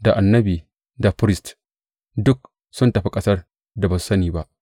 Da Annabi da firist duk sun tafi ƙasar da ba su sani ba.’